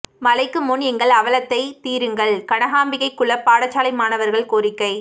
மழைக்கு முன் எங்கள் அவலத்தை தீருங்கள் கனகாம்பிகைகுளம் பாடசாலை மாணவா்கள் கோரிக்கை